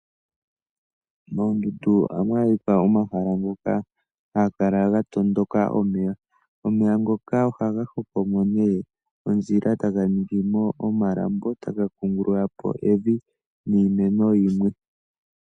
Moondundu ohamu adhika omahala moka hamu kala mwa tondoka omeya. Omeya ngoka ohaga hoko mo nduno ondjila e taga ningi mo omalambo e taga kungulula po evi niimeno yimwe.